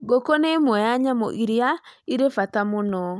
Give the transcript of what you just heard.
Ngũkũ nĩ ĩmwe ya nyamũ iria irĩ bata mũno.